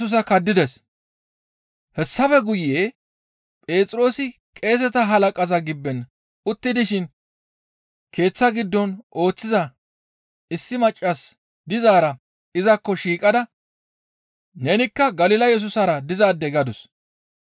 Hessafe guye Phexroosi qeeseta halaqaza gibben utti dishin keeththa giddon ooththiza issi maccas dizaara izakko shiiqada, «Nenikka Galila Yesusara dizaade!» gadus.